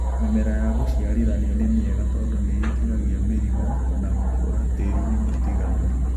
mĩmera ya gũciarithanio nĩmĩega tondu nĩĩtiragia mĩrimo na gũkũra tĩrini mũtiganu.